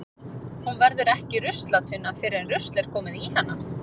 Hún verður ekki ruslatunna fyrr en rusl er komið í hana.